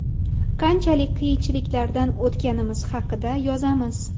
Qanchalik qiyinchiliklardan o‘tganimiz haqida yozamiz.